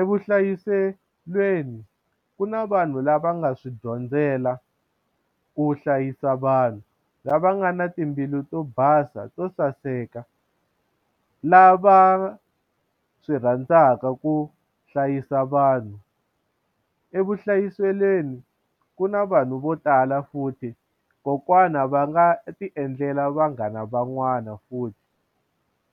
Evuhlayiselweni ku na vanhu lava nga swi dyondzela ku hlayisa vanhu lava nga na timbilu to basa to saseka lava swi rhandzaka ku hlayisa vanhu evuhlayiselweni ku na vanhu vo tala futhi kokwana va nga ti endlela vanghana van'wana futhi